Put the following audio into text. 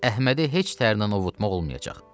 Əhmədi heç tərlan ovutmaq olmur.